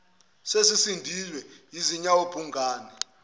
sesisindwe zinyawo bhungane